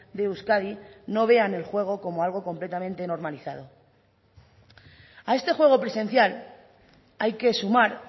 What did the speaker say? de euskadi no vean el juego como algo completamente normalizado a este juego presencial hay que sumar